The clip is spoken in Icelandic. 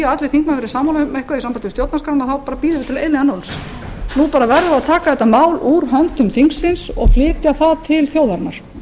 allir þingmenn verði sammála um eitthvað í sambandi við stjórnarskrána þá bíðum við til eilífðarnóns nú verðum við að taka þetta mál úr höndum þingsins og flytja það til þjóðarinnar